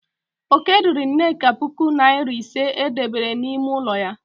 Oke riri nneka puku nari ise e debere n'ime ụlọ ya.